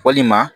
Walima